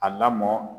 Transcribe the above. A lamɔn